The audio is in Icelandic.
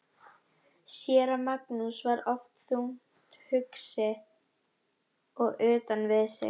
Séra Magnús var oft þungt hugsi og utan við sig.